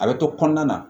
A bɛ to kɔnɔna na